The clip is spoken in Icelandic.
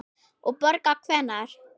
Og borga hvenær?